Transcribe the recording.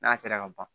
N'a sera ka ban